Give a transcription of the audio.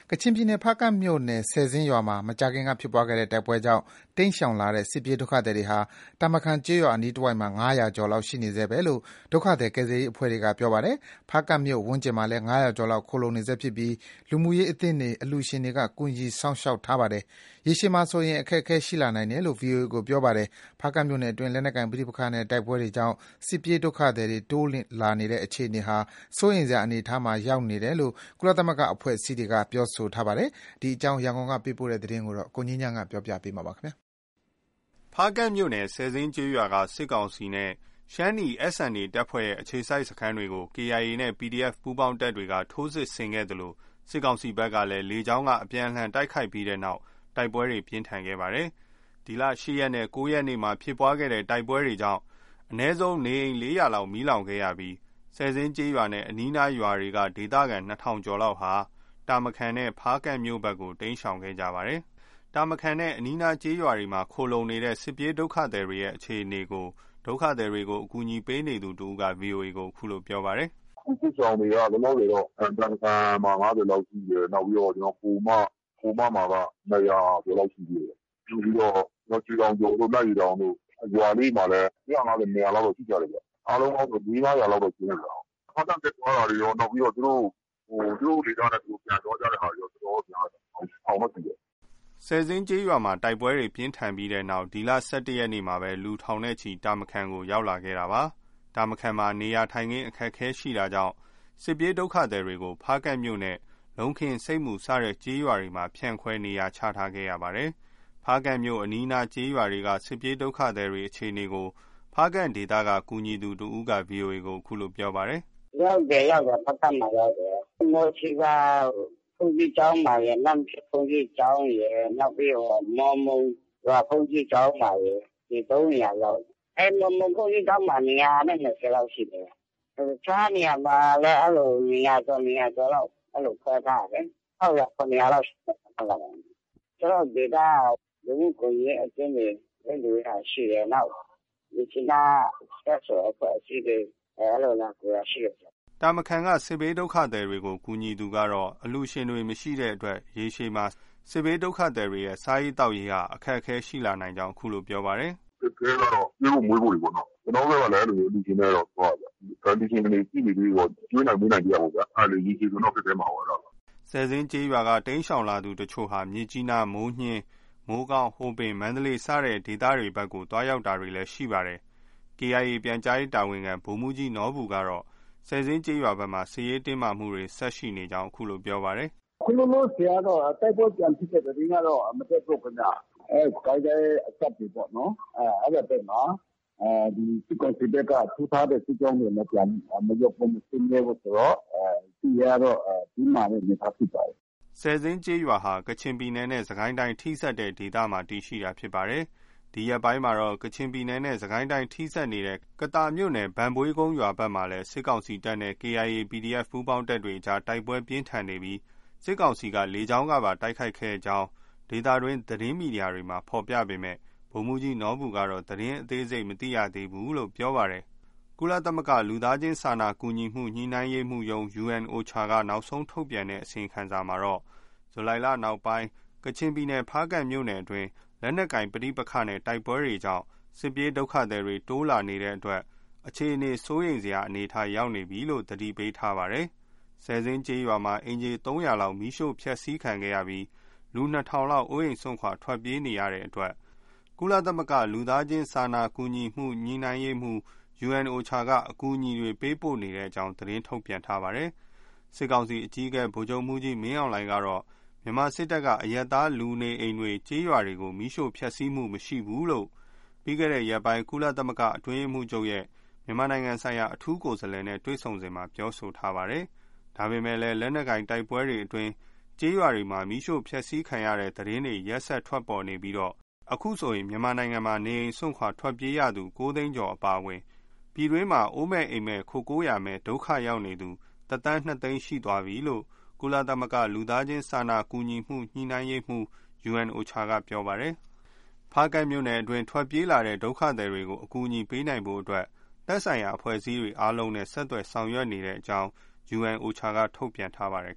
ကချင်ပြည်နယ် ဖားကန့်မြို့နယ် ဆယ်ဇင်းရွာမှာ မကြာခင်ကဖြစ်ခဲ့တဲ့ တိုက်ပွဲကြောင့် တိမ်းရှောင်လာတဲ့စစ်ပြေးဒုက္ခသည်တွေဟာ တာမခန်ကျေးရွာအနီးတဝိုက်မှာ ၅၀၀ ကျော်လောက် ရှိနေဆဲပဲလို့ ဒုက္ခသည် ကယ်ဆယ်ရေးအဖွဲ့တွေက ပြောပါတယ်။ ဖားကန့်မြို့ဝန်းကျင်မှာလည်း ၅၀၀ ကျော်လောက် ခိုလှုံနေဆဲဖြစ်ပြီး လူမှုရေးအသင်းတွေ၊ အလှူရှင်တွေက ကူညီ စောင့်ရှောက်ထားပေမယ့် ရေရှည်မှာ အခက်အခဲ ရှိလာနိုင်တယ်လို့လည်း VOA ကို ပြောပါတယ်။ ဖားကန့်မြို့နယ်အတွင်း လက်နက် ကိုင်ပဋိပက္ခနဲ့ တိုက်ပွဲတွေကြောင့် စစ်ပြေးဒုက္ခသည်တွေ တိုးလာနေတဲ့ အခြေအနေဟာ စိုးရိမ်စရာအနေအထားမှာ ရောက်နေတယ်လို့ ကုလသမဂ္ဂ အဖွဲ့အစည်းတွေက ပြောဆိုထားပါတယ်။ ကချင်ပြည်နယ်က စစ်ရှောင်အခြေအနေ ရန်ကုန်က သတင်းပေးပို့ချက်ကို ကိုငြိမ်းချမ်းက တင်ပြပေးထားပါတယ်။ ဖားကန့်မြို့နယ် ဆယ်ဇင်းကျေးရွာက စစ်ကောင်စီနဲ့ ရှမ်းနီ SNA တပ်ဖွဲ့ရဲ့ အခြေစိုက်စခန်းတွေကို KIA နဲ့ PDF ပူးပေါင်းတပ်တွေက ထိုးစစ်ဆင်ခဲ့သလို စစ်ကောင်စီဘက်ကလည်း လေကြောင်းက ပြန်လှန် တိုက်ခိုက်ခဲ့တဲ့နောက် တိုက်ပွဲ ပြင်းထန်ခဲ့ပါတယ်။ ဒီလ ၈ ရက်နဲ့ ၉ ရက် တိုက်ပွဲတွေကြောင့် အနည်းဆုံး နေအိမ် ၄၀၀ လောက် မီးလောင်ခဲ့ရပြီး ဆယ်ဇင်းကျေးရွာနဲ့ အနီးအနားရွာတွေက ဒေသခံ ၂,၀၀၀ ကျော်လောက်ဟာ တာမခန်နဲ့ ဖားကန့်မြို့ဘက်ကို တိမ်းရှောင်ခဲ့ကြရပါတယ်။ တာမခန်နဲ့ အနီးအနား ကျေးရွာတွေမှာ ခိုလှုံနေတဲ့ စစ်ပြေးဒုက္ခသည်တွေရဲ့အခြေအနေ ဒုက္ခသည်တွေကို ကူညီပေးနေသူူတဦးက VOA ကို အခုလို ပြောပြပါတယ်။ “စစ်ရှောင်တွေက လောလောဆယ်တော့ တာမခန်မှာ ၅၀ လောက်ရှိတယ်။ နောက်ပြီးတော့ ခိုမမှာက ၂၀၀ ကျော်လောက်ရှိသေးတယ်။ နောက် ရွှေတောင်ကျော်တို့၊ နန့်ရေတောင်တို့ အဲဒီ ရွာလေးတွေမှာလည်း ၁၅၀၊ ၂၀၀ လောက်တော့ ရှိကြတယ်ဗျ။ အားလုံးပေါင်းဆို ၄- ၅ ရာလောက်တော့ ရှိအုံးမယ်ဗျ။ ဖားကန့်တက်သွားတာတွေရော၊ နောက်ပြီး သူတို့ ဒေသနဲ့ သူတို့ ပြန်သွားတာတွေရော တော်တော်တော့ များတယ်။ ထောင်တော့ချီမယ်။” ဆယ်ဇင်းရွာမှာ တိုက်ပွဲပြင်းထန်ခဲ့တဲ့နောက် ဒီလ ၁၁ ရက်နေ့မှာ လူထောင်နဲ့ချီပြီး တာမခန်ကို ရောက်လာခဲ့တာပါ။ တာမခန်မှာ နေရာထိုင်ခင်း အခက်အခဲရှိတာကြောင့် စစ်ပြေးဒုက္ခသည်တွေကို ဖားကန့်မြို့နဲ့ လုံးခင်း၊ ဆိပ်မူစတဲ့ ကျေးရွာတွေကို ဖြန့်ခွဲ နေရာချထားခဲ့ရပါတယ်။ ဖားကန့်မြို့အနီးအနားကျေးရွာတွေက စစ်ပြေးဒုက္ခသည်တွေ အခြေအနေကို ဖားကန့်ဒေသက ကူညီသူတဦးက VOA ကို အခုလို ပြောပါတယ်။ “ရောက်တယ်။ ဖားကန့်မှာ ရောက်တယ်။ မှော်ဆီဇာ ဘုန်းကြီးကျောင်းမှာရယ်။ နမ့်မဖြစ် ဘုန်းကြီးကျောင်းမှာရယ်။ နောက်ပြီး မမုံရွာဘုန်းကြီးကျောင်းမှာရယ်။ ဒီ ၃ နေရာရောက်တယ်။ အဲဒီမမုံဘုန်းကြီးကျောင်းမှာ ၂၂၀ ရှိတယ်။ တခြားနေရာမှာလည်း အဲလို ၂၀၀ ကျော်၊ ၂၀၀ ကျော်လောက် အဲလို ခွဲထားတာလေ။ ၆၀၀၊ ၇၀၀ လောက်ရှိမယ်၊ အားလုံးကတော့။ ကျနော်တို့ ဒေသက လူမှုကူညီရေးအသင်းတွေ ပေးလှူတာရှိတယ်။ နောက် မြစ်ကြီးနားက CSO အဖွဲ့အစည်းတွေ အဲလို လာလှုတာရှိတယ်။” တာမခန်က စစ်ရှောင်တွေကို ကူညီသူကတော့ အလှူရှင်တွေမရှိရင် ရေရှည်မှာ စစ်ရှောင်တွေရဲ့ စားရေးသောက်ရေးဟာ အခက်အခဲရှိလာနိုင်ကြောင်း အခုလို ပြောပါတယ်။ “အခက်အခဲကတော့ ကျွေးဖို့၊ မွေးဖို့တွေပေါ့နော။ ကျနော်တို့ဘက်ကလည်း အဲလိုမျိုး အလှူရှင်နဲ့တော့ သွားတာဗျ။ အလှူရှင်တွေ ရှိနေသ၍တော့ ကျွေးနိုင်၊ မွေးနိုင်သေးတာပေါ့ဗျာ။ အဲဒါလည်း ရေရှည်မှာဆိုရင်တော့ ခက်ခဲမှာပေါ့။” ဆယ်ဇင်းရွာက တိမ်းရှောင်လာသူအချို့ဟာ မြစ်ကြီးနား၊ မိုးညှင်း၊ မိုးကောင်း၊ ဟိုပင်၊ မန္တလေး စတဲ့ အရပ်ဘက်ကို သွားရောက်တာတွေလည်း ရှိပါတယ်။ KIA က ပြန်ကြားရေးတာဝန်ခံ ဗိုလ်မှူးကြီးနော်ဘူက ဆယ်ဇင်းကျေးရွာဘက်မှာ စစ်ရေးတင်းမာမှုတွေ ဆက်ရှိနေကြောင်း အခုလို ပြောပါတယ်။ “အခုလောလောဆယ်ကတော့ တိုက်ပွဲပြန်ဖြစ်တဲ့သတင်းကတော့ မတက်ဘူးခင်ဗျ။ စစ်ကိုင်းတိုင်းအစပ်တွေပေ့ါနော်။ အဲဒီဘက်မှာ စစ်ကောင်စီဘက်က ထိုးထားတဲ့ စစ်ကြောင်းတွေ မရုပ်သိမ်းသေးဘူးဆိုတော့ စစ်ရေးကတော့ တင်းမာတဲ့အနေအထားဖြစ်ပါတယ်။” ဆယ်ဇင်းကျေးရွာဟာ ကချင်ပြည်နယ်နဲ့ စစ်ကိုင်းတိုင်း ထိစပ်နေတဲ့ဒေသမှာတည်ရှိတာဖြစ်ပါတယ်။ ဒီရက်ပိုင်းမှာတော့ ကချင်ပြည်နယ်နဲ့ စစ်ကိုင်းတိုင်း ထိစပ်နေတဲ့ ကသာမြို့နယ် ဘန့်ဘွေးကုန်းရွာဘက်မှာလည်း စစ်ကောင်စီတပ်နဲ့ KIA၊ PDF ပူးပေါင်းတပ်တွေကြား တိုက်ပွဲပြင်းထန်နေပြီး စစ်ကောင်စီက လေကြောင်းကပါ တိုက်ခိုက် ခဲ့ကြောင်း ဒေသတွင်း သတင်းမီဒီယာတွေမှာ ဖော်ပြပေမယ့် ဗိုလ်မှူးကြီးနော်ဘူကတော့ သတင်းအသေးစိတ်မသိရသေးဘူးလို့ ပြောပါတယ်။ ကုလသမဂ္ဂ လူသားချင်းစာနာမှုကူညီမှု ညှိနှိုင်းရေးရုံး UNOCHA က နောက်ဆုံးထုတ် ပြန်တဲ့အစီရင်ခံစာမှာ ဂျူလိုင်လနောက်ပိုင်း ကချင်ပြည်နယ် ဖားကန့်မြို့နယ် အတွင်း လက်နက်ကိုင်ပဋိပက္ခနဲ့ တိုက်ပွဲတွေကြောင့် စစ်ပြေးဒုက္ခသည်တွေ တိုးလာနေတဲ့အတွက် အခြေအနေ စိုးရိမ်စရာ အနေအထား ရောက်နေတဲ့အကြောင်း သတိပေးထားပါတယ်။ ဆယ်ဇင်းကျေးရွာမှာ အိမ်ခြေ ၃၀၀ လောက် မီးရှို့ဖျက်ဆီးခံခဲ့ရပြီး လူ ၂,၀၀၀ လောက် အိုးအိမ်စွန့်ခွာထွက်ပြေးနေတဲ့အတွက် ကုလသမဂ္ဂ လူသားချင်းစာနာမှုကူညီမှု ညှိ့နိုင်းရေးရုံး UNOCHA က အကူညီတွေ ပေးပို့နေတဲ့အကြောင်း သတင်းထုတ်ပြန်ထားပါတယ်။ စစ်ကောင်စီအကြီးအကဲ ဗိုလ်ချုပ်မှူးကြီးမင်းအောင်လှိုင်ကတော့ မြန်မာစစ်တပ်က အရပ်သား လူနေအိမ်တွေ ကျေးရွာတွေကို မီးရှို့ဖျက်ဆီးမှု မရှိဘူးလို့ ပြီးခဲ့တဲ့ ရက်ပိုင်း ကုလသမဂ္ဂအတွင်းရေးမှူးချုပ်ရဲ့ မြန်မာနိုင်ငံဆိုင်ရာ အထူးကိုယ်စားလှယ်နဲ့ တွေ့ဆုံစဉ်မှာ ပြောဆိုထားပါတယ်။ ဒါပေမယ့်လည်း လက်နက်ကိုင်တိုက်ပွဲတွေအတွင်း ကျေးရွာတွေမှာ မီးရှို့ဖျက်ဆီးခံရတဲ့ သတင်းတွေ ရက်ဆက်ထွက်ပေါ်နေပြီး အခုဆိုရင် မြန်မာနိုင်ငံမှာ နေအိမ်စွန့်ခွာထွက်ပြေးရသူ ၉ သိန်းကျော်အပါအဝင် ပြည်တွင်း အိုးမဲ့အိမ်မဲ့ ခိုကိုးရာမဲ့ ဒုက္ခရောက်နေတဲ့သူ ၁ သန်း ၂ သိန်း ရှိသွားပြီလို့ ကုလသမဂ္ဂ လူသားချင်းစာနာမှုကူညီမှု ညှိနှိုင်းရေးရုံး UNOCHA က ပြောပါတယ်။ ဖားကန့်မြို့နယ်အတွင်း ထွက်ပြေးလာတဲ့ ဒုက္ခသည်တွေကို အကူအညီပေးနိုင်ဖို့ အတွက် သက်ဆိုင်ရာအဖွဲ့အစည်းတွေအားလုံးနဲ့ ဆက်သွယ်ဆောင်ရွက်နေတဲ့အကြောင်း UNOCHA က သတင်းထုတ်ပြန်ထားပါတယ်